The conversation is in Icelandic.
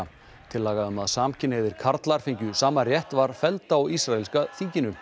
tillaga um að samkynhneigðir karlar fengju sama rétt var felld á ísraelska þinginu